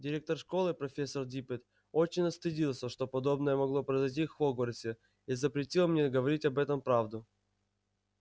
директор школы профессор диппет очень стыдился что подобное могло произойти в хогвартсе и запретил мне говорить об этом правду